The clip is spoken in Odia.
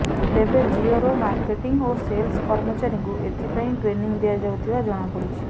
ତେବେ ଜିଓର ମାର୍କେଟିଂ ଓ ସେଲ୍ସ କର୍ମଚାରୀଙ୍କୁ ଏଥିପାଇଁ ଟ୍ରେନିଂ ଦିଆଯାଉଥିବା ଜଣାପଡିଛି